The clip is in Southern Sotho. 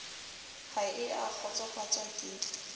ha e a kgotsofatswa ke